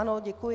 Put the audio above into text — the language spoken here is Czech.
Ano, děkuji.